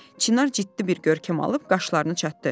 Çinar ciddi bir görkəm alıb qaşlarını çatdı.